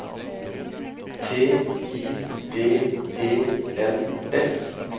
T I D E N S